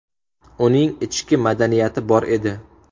Uning ichki madaniyati bor edi.